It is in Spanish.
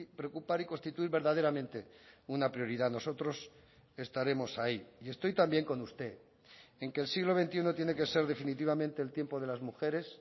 preocupar y constituir verdaderamente una prioridad nosotros estaremos ahí y estoy también con usted en que el siglo veintiuno tiene que ser definitivamente el tiempo de las mujeres